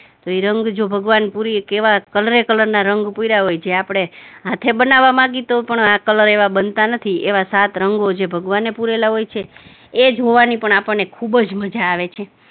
રંગ જો ભગવાન પુરે કેવા કલરે કલરના રંગ પુરા હોય જે આપણે હાથે બનાવવા માંગી તો પણ કલર એવા બનતા નથી, એવા સાત રંગો જે ભગવાને પૂરેલા હોય છે, એ જોવાની પણ આપણને ખુબ જ મજા આવે છે.